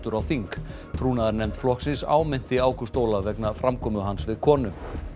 á þing flokksins áminnti Ágúst Ólaf vegna framkomu hans við konu